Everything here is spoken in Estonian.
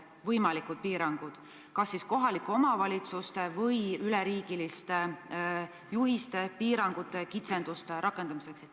Millised on plaanid kas siis kohalikele omavalitsustele mõeldud või üleriigiliste juhiste, piirangute, kitsenduste rakendamiseks.